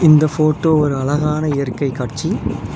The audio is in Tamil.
இந்த ஃபோட்டோ ஒரு அழகான இயற்கை காட்சி.